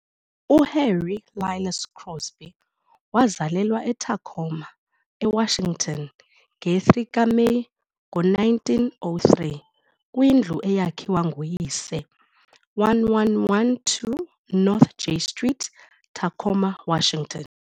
UHarry Lillis Crosby wazalelwa eTacoma, eWashington, nge-3 kaMeyi, ngo-1903, kwindlu eyakhiwa nguyise 1112 North J Street, Tacoma, Washington.